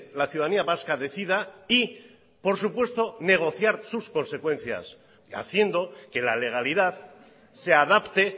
la ciudadanía vasca decida y por supuesto negociar sus consecuencias haciendo que la legalidad se adapte